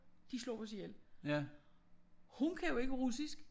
De slog os ihjel. Hun kan jo ikke russisk